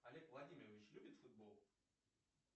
олег владимирович любит футбол